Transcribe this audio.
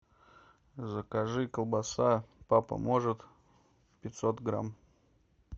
закажи колбаса папа может пятьсот грамм